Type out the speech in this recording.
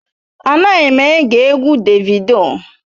Anaghị m ege egwu Davido.